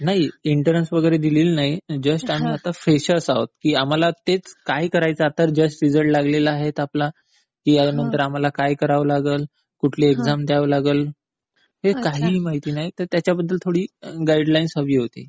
नाही. एंट्रन्स वगैरे दिलेली नाही. जस्ट आता आम्ही फ्रेशर्स आहोत. तर आता आम्हाला तेच, काय करायचं आता, जस्ट रिझल्ट लागलेला आहे. नंतर आम्हाला काय करावं लागल? कुठली एक्साम द्यावी लागल? हे काहीही माहित नाही तर त्याच्याबद्दल थोडी गाईडलाईन्स हवी होती.